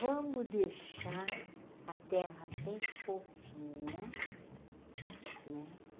Vamos deixar a terra bem fofinha né.